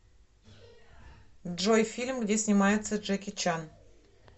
джой фильм где снимается джеки чан